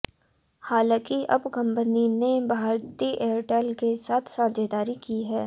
हालाँकि अब कंपनी ने भारती एयरटेल के साथ साझेदारी की है